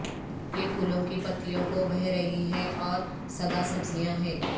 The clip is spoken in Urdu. یہ پھولوں کی پتیوں کو بہہ رہی ہے اور سدا سبزیاں ہیں